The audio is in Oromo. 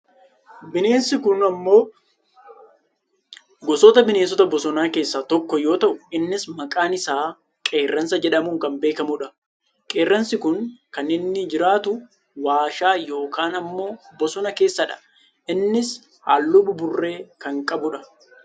Bineensi kun ammoo gosoota bineensota bosonaa keessaa tokko yoo ta'u innis maqaan isaa qeerransa jedhamuun kan beekkamudha. qeerransi kun kan inni jiraatu waashaa yookaan ammoo bosona keessadha. innis halluu buburree kan qabudha.